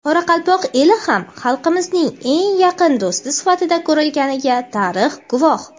Qoraqalpoq eli ham xalqimizning eng yaqin do‘sti sifatida ko‘rilganiga tarix guvoh.